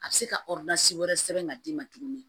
A bɛ se ka wɛrɛ sɛbɛn ka d'i ma tuguni